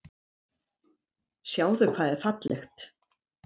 Sjáðu hvað er fallegt.